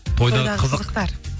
тойдағы қызықтар